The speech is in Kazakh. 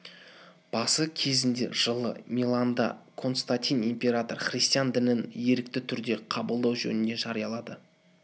басы кезінде жылы миланда константин император христиан дінін ерікті түрде қабылдау жөнінде жариялады